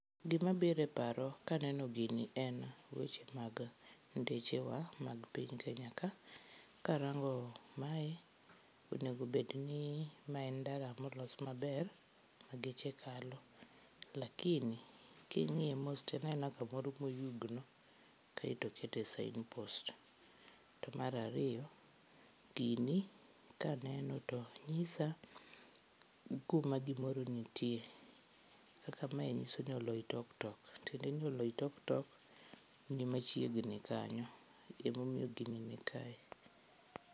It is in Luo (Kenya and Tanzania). Gima biro e paro kaneno gini en weche mag ndeche wa mag piny Kenya ka. Karango mae onego obed ni maen ndara molos maber ma geche kalo lakini kingiye mos toen aena kamoro moyugno kaito okete signpost. Mar ariyo, gini kaneno to nyisa kuma gimoro nitie kaka mae nyisoni Oloitoktok, tiende ni Oloitoktok ni machiegni kanyo ema omiyo gini nikae